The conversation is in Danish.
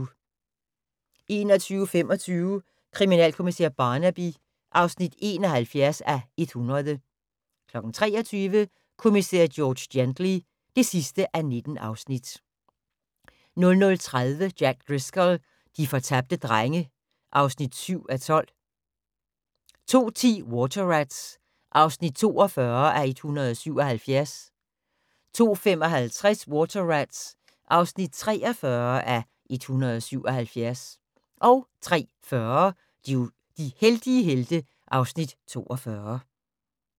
21:25: Kriminalkommissær Barnaby (71:100) 23:00: Kommissær George Gently (19:19) 00:30: Jack Driscoll - de fortabte drenge (7:12) 02:10: Water Rats (42:177) 02:55: Water Rats (43:177) 03:40: De heldige helte (Afs. 42)